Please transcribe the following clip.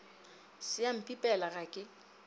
se a mpipela ga ke